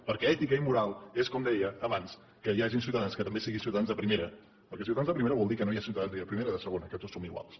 perquè ètica i moral és com deia abans que hi hagin ciutadans que també siguin ciutadans de primera perquè ciutadans de primera vol dir que no hi ha ciutadans ni de primera ni de segona que tots som iguals